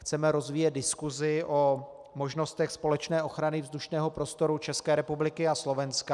Chceme rozvíjet diskusi o možnostech společné ochrany vzdušného prostoru České republiky a Slovenska.